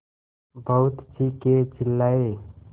बहुत चीखेचिल्लाये